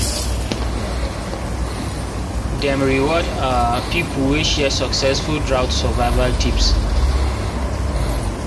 dem reward um people wey share successful drought survival tips